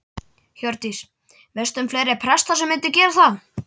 Hjördís: Veistu um fleiri presta sem myndu gera það?